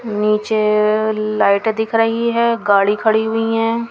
नीचे लाइट दिख रही है गाड़ी खड़ी हुई है.